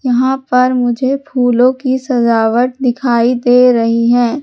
यहां पर मुझे फूलों की सजावट दिखाई दे रही है।